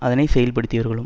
அதனை செயல்படுத்தியவர்களும்